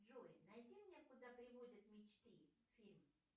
джой найди мне куда приводят мечты фильм